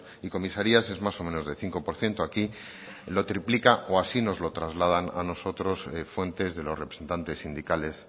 y comisarías es más o menos de cinco por ciento aquí lo triplica o así nos lo trasladan a nosotros fuentes de los representantes sindicales